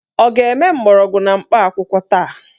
Ọ ga-eme mgbọrọgwụ na mkpa akwụkwọ taa?